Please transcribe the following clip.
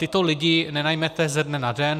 Tyto lidi nenajmete ze dne na den.